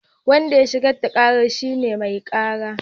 Wanda ya shigar da kara shine mai kara